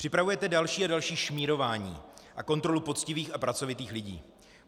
Připravujete další a další šmírování a kontrolu poctivých a pracovitých lidí.